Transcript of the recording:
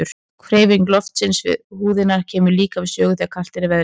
Hreyfing loftsins við húðina kemur líka við sögu þegar kalt er í veðri.